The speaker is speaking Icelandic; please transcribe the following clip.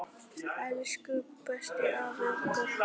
Elsku besti afi okkar.